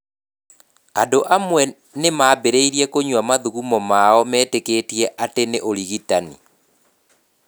Andũ amwe nĩ maambĩrĩirie kũnyua mathugumo mao metĩkĩtie atĩ nĩ ũrigitani